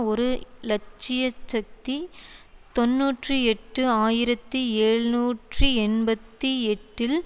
ஒரு இலட்ச்சியச்சக்தி தொன்னூற்றி எட்டு ஆயிரத்தி ஏழ்நூற்றி எண்பத்தி எட்டில்